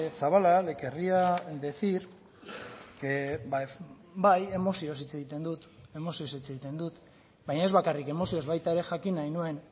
zabala le querría decir que bai emozioz hitz egiten dut baina ez bakarrik emozioz baita ere jakin nahi nuen